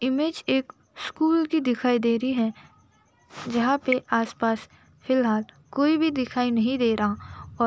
Image एक school की दिखाई दे रही है। जहां पे आसपास फिलहाल कोई भी नहीं दिखाई दे रहा और --